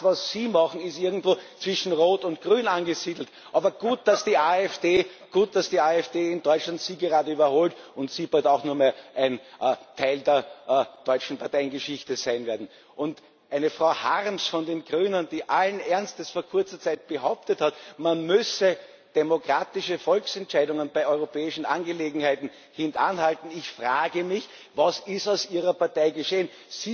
Das was Sie machen, ist irgendwo zwischen Rot und Grün angesiedelt. Aber gut, dass die AfD in Deutschland Sie gerade überholt und Sie bald auch nur mehr ein Teil der deutschen Parteiengeschichte sein werden. Und eine Frau Harms von den Grünen, die allen Ernstes vor kurzer Zeit behauptet hat, man müsse demokratische Volksentscheidungen bei europäischen Angelegenheiten hintanhalten ich frage mich, was ist mit Ihrer Partei geschehen?